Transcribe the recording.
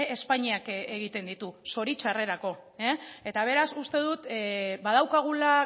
espainiak egiten ditu zoritxarrerako eta beraz uste dut badaukagula